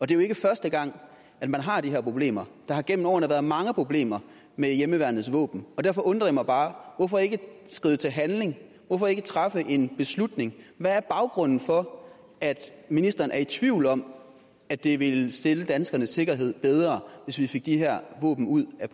det er jo ikke første gang man har de her problemer der har gennem årene været mange problemer med hjemmeværnets våben derfor undrer det mig bare hvorfor ikke skride til handling hvorfor ikke træffe en beslutning hvad er baggrunden for at ministeren er i tvivl om at det ville stille danskernes sikkerhed bedre hvis vi fik de her våben ud af